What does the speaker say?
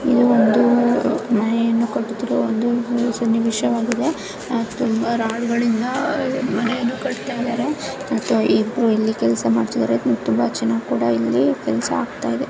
ಇದು ಒಂದು ಮನೆಯನ್ನು ಕಟ್ಟುತ್ತಿರುವ ಒಂದು ಸನ್ನಿವೇಶವಾಗಿದೆ ಆಹ್ ತುಂಬಾ ರೋಡ್ ಗಳಿಂದ ಆಹ್ ಮನೆಯನ್ನು ಕಟ್ತಾ ಇದ್ದಾರೆ ಮತ್ತು ಇಬ್ರು ಇಲ್ಲಿ ಕೆಲಸ ಮಾಡ್ತಾ ಇದ್ದಾರೆ ಮತ್ತೆ ತುಂಬಾ ಚೆನ್ನಾಗಿ ಇಲ್ಲಿ ಕೆಲ್ಸ ಆಗ್ತಾ ಇದೆ.